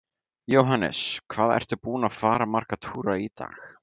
Jóhannes: Hvað ertu búinn að fara marga túra í dag?